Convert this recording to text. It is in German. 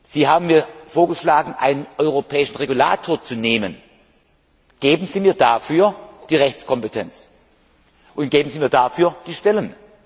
Sie haben mir vorgeschlagen, einen europäischen Regulator einzusetzen. Geben Sie mir dafür die Rechtskompetenz und geben Sie mir dafür die Stellen.